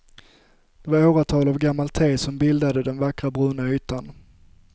Det var åratal av gammalt te som bildat den vackra bruna ytan.